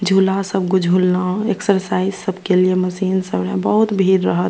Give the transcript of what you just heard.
झूला सब ग झूललो एक्सरसाइज सब के लिए मशीन सब रहे बहुत भीड़ रहत।